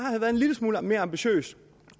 en lille smule mere ambitiøs